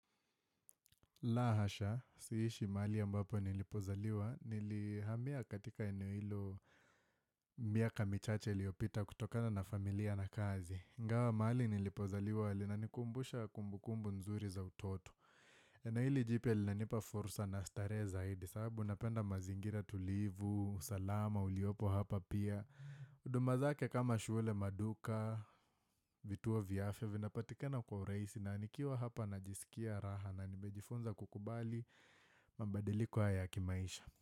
La hasha, siishi mahali ambapo nilipozaliwa, nilihamia katika eneo hilo miaka michache iliyopita kutokana na familia na kazi. Ingawa mahali nilipozaliwa, linanikumbusha kumbukumbu nzuri za utoto. Na hili jipya linanipa fursa na starehe zaidi, sababu napenda mazingira tulivu, salama, uliopo hapa pia. Huduma zake kama shule maduka, vituo vya afya, vinapatikana kwa urahisi, na nikiwa hapa najisikia raha na nimejifunza kukubali mabadiliko haya kimaisha.